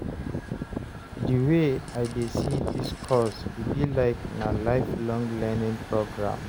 di wey I dey see dis course, e be like na lifelong learning program